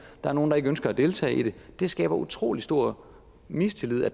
er nogle der ikke ønsker at deltage i det det skaber utrolig stor mistillid at